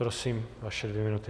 Prosím, vaše dvě minuty.